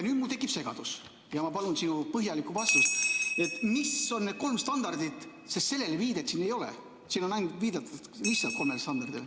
Nüüd mul tekib segadus ja ma palun sinu põhjalikku vastust, mis on need kolm standardit, sest sellele viidet siin ei ole, siin on viidatud lihtsalt kolmele standardile.